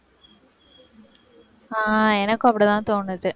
ஆஹ் எனக்கும் அப்படிதான்தோணுது